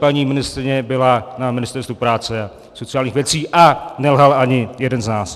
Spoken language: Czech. Paní ministryně byla na Ministerstvu práce a sociálních věcí a nelhal ani jeden z nás.